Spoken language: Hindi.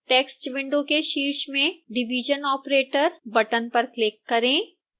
टेक्स्ट विंडो के शीर्ष में division operator बटन पर क्लिक करें